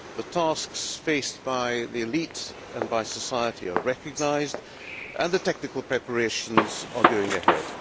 The tasks faced by the elite and by society are recognised and the technical preparations are going ahead.